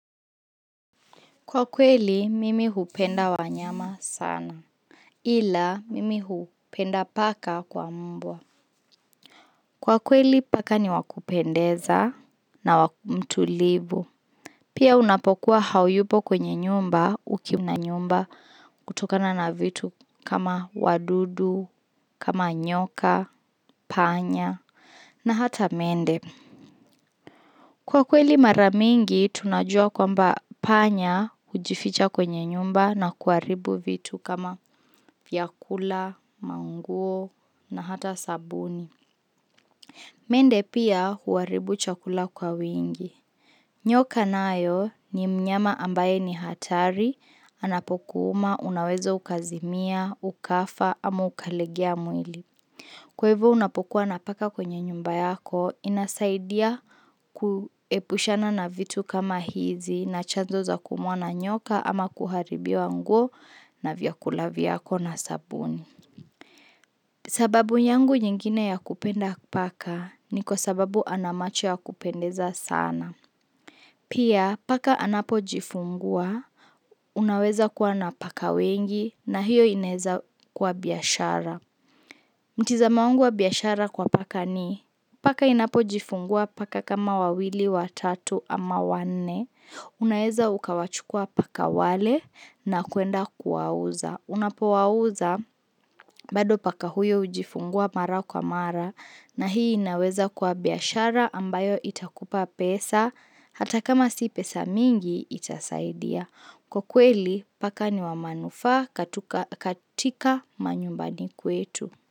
Kwa kweli, mimi hupenda wanyama sana. Ila, mimi hupenda paka kwa mbwa. Kwa kweli, paka ni wakupendeza na wakumtulivu. Pia unapokuwa hayupo kwenye nyumba ukimna nyumba kutokana na vitu kama wadudu, kama nyoka, panya na hata mende. Kwa kweli maramingi tunajua kwamba panya hujificha kwenye nyumba na kuharibu vitu kama vyakula, manguo na hata sabuni. Mende pia huharibu chakula kwa wingi. Nyoka nayo ni mnyama ambaye ni hatari, anapokuuma, unaweza ukazimia, ukafa, ama ukalegea mwili. Kwa hivo unapokuwa napo kuwa na paka kwenye nyumba yako inasaidia kuepushana na vitu kama hizi na chanzo za kuumwana nyoka ama kuharibiwa nguo na vyakula vyako na sabuni. Sababu yangu nyingine ya kupenda paka ni kwa sababu anamacho ya kupendeza sana. Pia paka anapo jifungua, unaweza kuwa na paka wengi na hiyo inaeza kuwa biashara. Mtizamo wangu wa biashara kwa paka ni. Paka inapojifungua paka kama wawili watatu ama wanne. Unaeza ukawachukua paka wale na kuenda kuwauza. Unapowauza bado paka huyo hujifungua mara kwa mara na hii inaweza kwa biashara ambayo itakupa pesa hata kama si pesa mingi itasaidia. Kwa kweli paka ni wamaanufa katika manyumbani kwetu.